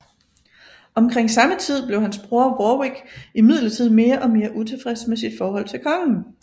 Omkring samme tid blev hans bror Warwick imidlertid mere og mere utilfreds med sit forhold til kongen